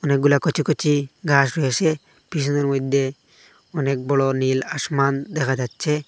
অনেকগুলা কচি কচি ঘাস হয়েছে পিছনের মধ্যে অনেক বড়ো নীল আসমান দেখা যাচ্ছে।